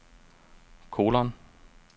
kolon